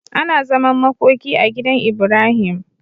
Ana zaman makoki a gidan Ibrahim